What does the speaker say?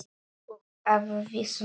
Upp að vissu marki.